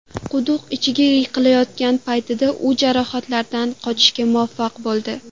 Quduq ichiga yiqilayotgan paytida u jarohatlardan qochishga muvaffaq bo‘ldi.